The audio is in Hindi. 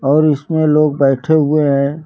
और इसमें लोग बैठे हुए हैं।